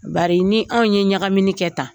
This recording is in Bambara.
Bari ni anw ye ɲagamini kɛ tan